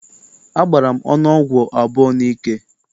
Agbara m ọnụ ọgwụ abụọ n'ike.